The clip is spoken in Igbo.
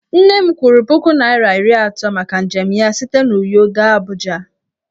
Nne m kwụrụ puku naira iri atọ maka njem ya site n'Uyo gaa Abuja.